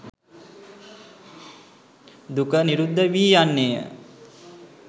දුක නිරුද්ධ වී යන්නේ ය.